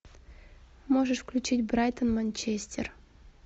можешь включить брайтон манчестер